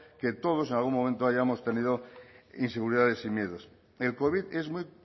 que todos en algún momento hayamos tenido inseguridades y miedos el covid es muy